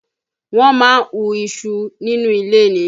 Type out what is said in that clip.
Wọ́n máa ń hú iṣu nínú ilẹ̀ ni